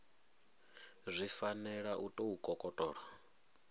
zwi fanela u tou kokotolo